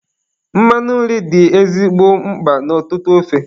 Mmanụ nri dị ezigbo mkpa n' ọtụtụ ofe.